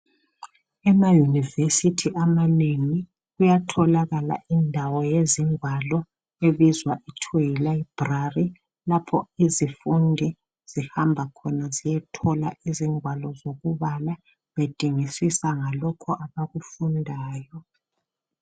Emaunivesithi amanengi kuyatholakala indawo yezingwalo ebizwa ithiwe Yi library .Lapho izifundi zihamba khona ziyethola izingwalo zokubala bedingisisa ngalokho abakufundayo .